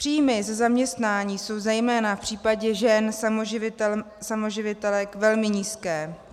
Příjmy ze zaměstnání jsou zejména v případě žen samoživitelek velmi nízké.